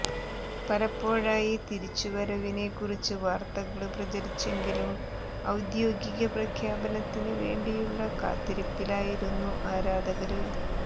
പലപ്പോഴായി തിരിച്ച് വരവിനെ കുറിച്ച് വാര്ത്തകള് പ്രചരിച്ചെങ്കിലും ഔദ്യോഗിക പ്രഖ്യാപനത്തിന് വേണ്ടിയുള്ള കാത്തിരിപ്പിലായിരുന്നു ആരാധകര്